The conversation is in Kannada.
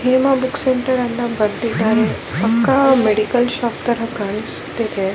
ಹೇಮಾ ಬುಕ್ ಸೆಂಟರ್ ಅಂತ ಬರೆದಿದ್ದಾರೆ ಪಕ್ಕ ಮೆಡಿಕಲ್ ಶಾಪ್ ತರ ಕಾಣಿಸುತ್ತಿದೆ .